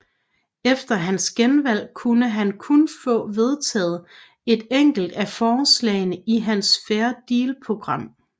Efter hans genvalg kunne han kun få vedtaget et enkelt af forslagene i hans Fair Deal program